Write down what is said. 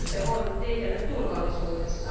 Kyse on liikenneturvallisuudesta.